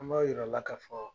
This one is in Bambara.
An b'a yira aw la ka fɔ